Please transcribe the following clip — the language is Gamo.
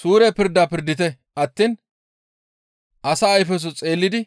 Suure pirda pirdite attiin asa ayfeso xeellidi